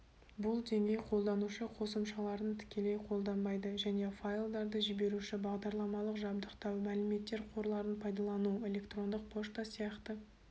бұл деңгей қолданушы қосымшаларын тікелей қолдайды және файлдарды жіберуші бағдарламалық жабдықтау мәліметтер қорларын пайдалану электрондық пошта сияқты